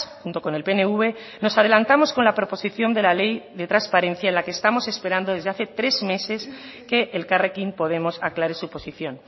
junto con el pnv nos adelantamos con la proposición de la ley de transparencia en la que estamos esperando desde hace tres meses que elkarrekin podemos aclare su posición